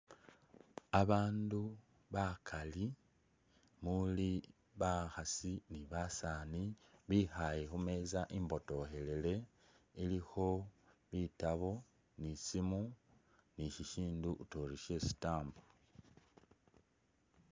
Abandu bakaali muli bakhaasi ni basaani bikhale khumeza imbotokhelele is a ilikho bitaabo ni isimu ni shishindu utuya ori shye'stamp